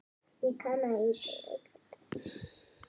Það eru aum skipti.